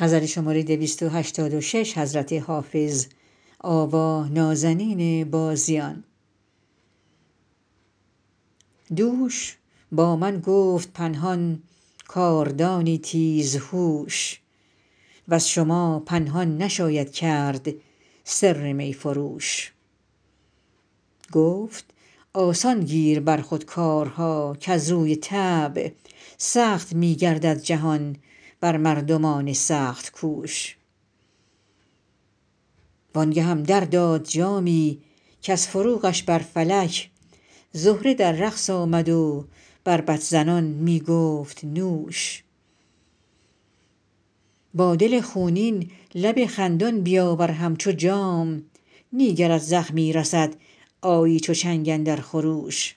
دوش با من گفت پنهان کاردانی تیزهوش وز شما پنهان نشاید کرد سر می فروش گفت آسان گیر بر خود کارها کز روی طبع سخت می گردد جهان بر مردمان سخت کوش وان گهم در داد جامی کز فروغش بر فلک زهره در رقص آمد و بربط زنان می گفت نوش با دل خونین لب خندان بیاور همچو جام نی گرت زخمی رسد آیی چو چنگ اندر خروش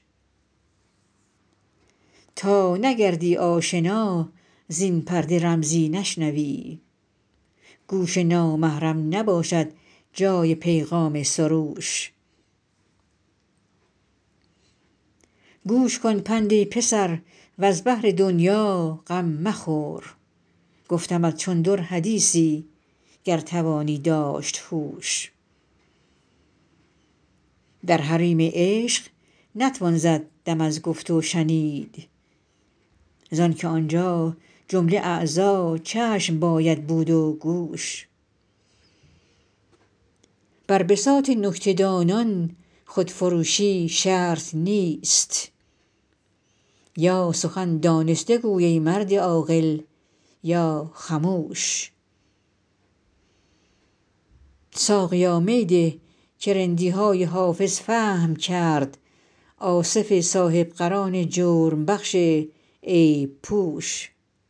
تا نگردی آشنا زین پرده رمزی نشنوی گوش نامحرم نباشد جای پیغام سروش گوش کن پند ای پسر وز بهر دنیا غم مخور گفتمت چون در حدیثی گر توانی داشت هوش در حریم عشق نتوان زد دم از گفت و شنید زان که آنجا جمله اعضا چشم باید بود و گوش بر بساط نکته دانان خودفروشی شرط نیست یا سخن دانسته گو ای مرد عاقل یا خموش ساقیا می ده که رندی های حافظ فهم کرد آصف صاحب قران جرم بخش عیب پوش